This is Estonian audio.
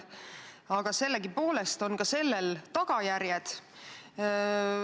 Aga ka sellel on tagajärjed.